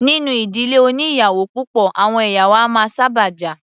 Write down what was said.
Nínú ìdílé oní ìyàwó púpọ̀, àwọn ìyàwó a máa sábà jà.